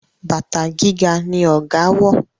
bàtà gíga ní ọgá wọ.